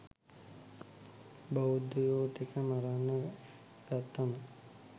බෞද්ධයො ටික මරන්න ගත්තම